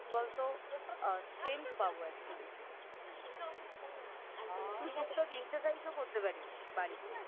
কি বলতো a Strength পাবো Actually তুই Exercise ও করতে পারিস বাড়িতে